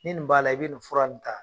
Ni nin b'a la, i bi nin fura nin ta.